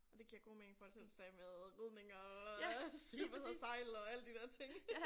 Og det giver god mening i forhold til du sagde med ridning og sige du havde sejlet og alle de der ting